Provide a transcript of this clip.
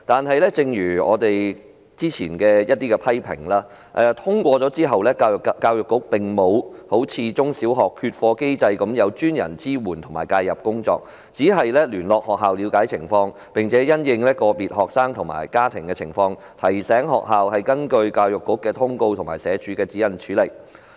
然而，正如我們之前的一些批評所言，有別於中小學的缺課機制，幼稚園缺課通報機制沒有專人支援及介入，即使作出通報，教育局亦只是聯絡學校了解詳情，並因應個別學生及家庭情況，提醒學校根據教育局的通告及社署的指引處理。